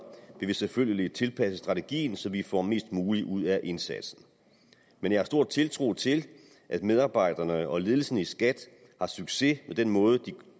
vi selvfølgelig tilpasse strategien så vi får mest muligt ud af indsatsen men jeg har stor tiltro til at medarbejderne og ledelsen i skat har succes med den måde